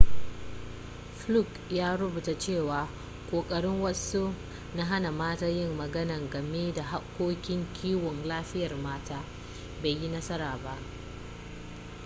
fluke ya rubuta cewa ƙoƙarin wasu na hana mata yin magana game da harkokin kiwon lafiyar mata bai yi nasara ba